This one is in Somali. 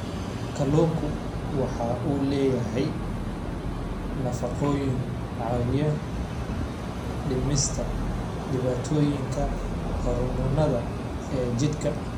Kalluunku waxa uu leeyahay nafaqooyin caawiya dhimista dhibaatooyinka hormoonnada ee jidhka.